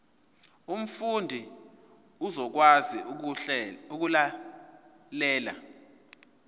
umfundi uzokwazi ukulalela